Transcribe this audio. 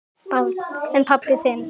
Barn: En pabbi þinn?